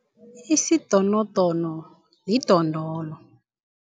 Isidonodono lidondolo.